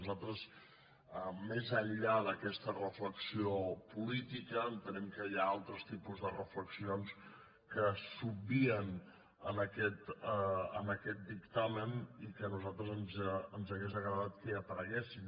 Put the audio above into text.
nosaltres més enllà d’aquesta reflexió política entenem que hi ha altres tipus de reflexions que s’obvien en aquest dictamen i que a nosaltres ens hauria agradat que hi apareguessin